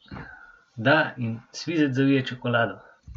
Da, in svizec zavije čokolado.